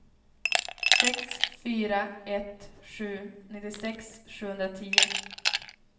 sex fyra ett sju nittiosex sjuhundratio